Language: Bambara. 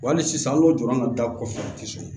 Wa hali sisan an ka o jɔyɔrɔ nana da kɔfɛ a tɛ sɔn